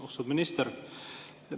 Austatud minister!